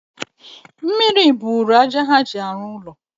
mmiri buuru aja ha ji arụ ụlọ..